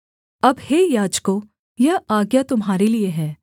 अब हे याजकों यह आज्ञा तुम्हारे लिये है